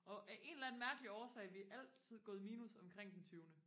og af en eller anden mærkelig årsag har vi altid gået i minus omkring den tyvende